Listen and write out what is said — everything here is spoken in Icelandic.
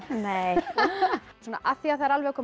nei af því það er alveg að koma